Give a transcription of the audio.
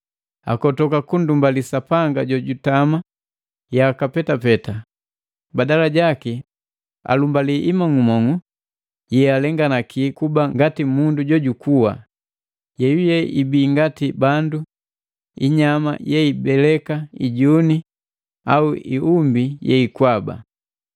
Akotoka kundumbali Sapanga jojutama yaka petapeta, badala jaki alumbali imong'umong'u yealenganaki kuba ngati mundu jojukua, yeyuye ibi ngati bandu, inyama yeibeleka, ijuni, au iumbi yeikwaba.